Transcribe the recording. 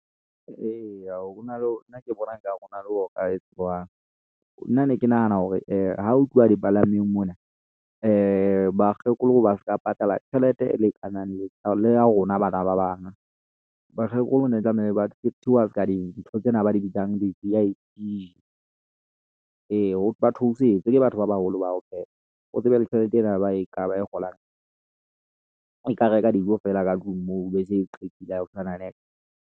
Eya, hona le, nna ke bona nkare hona le ho ka etsuwang. Nna ne ke nahana hore ha o tluwa di palangweng mona , bakgekolo ba ska patala tjhelete e lekanang le ya rona bana bakgekolo ne tlamehile ba treat-iwa ska dintho tsena ba di bitsang di-V_I_P. Ee ba theosetswe ke batho ba baholo ba o hle. O tsebe le tjhelete ena ba e kgolang e ka reka dijo fela ka tlung moo be se qetile ha hosana nex.